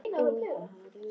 Í nú lausum heimi.